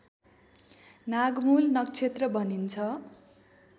नागमूल नक्षत्र भनिन्छ